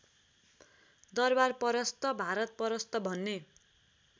दरबारपरस्त भारतपरस्त भन्ने